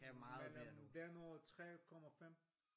Men øh den og 3,5?